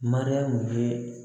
Mariyamu ye